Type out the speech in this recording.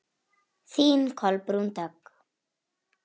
Þín Kolbrún Dögg.